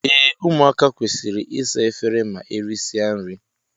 Ee ụmụaka kwesịrị ịsa efere ma erisia nri.